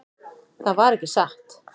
Það var ekki satt.